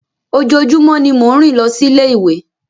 Ojoojumọ ni mo ń rin losi ile-iwe.